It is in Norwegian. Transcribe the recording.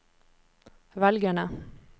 velgerne